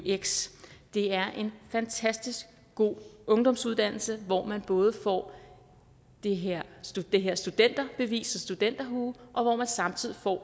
eux det er en fantastisk god ungdomsuddannelse hvor man både får det her det her studenterbevis og studenterhue og samtidig får